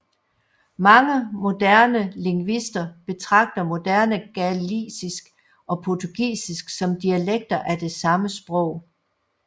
Mange moderne lingvister betragter moderne galicisk og portugisisk som dialekter af det samme sprog